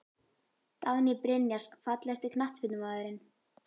Dagný Brynjars Fallegasti knattspyrnumaðurinn?